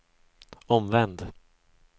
omvänd